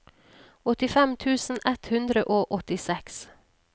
åttifem tusen ett hundre og åttiseks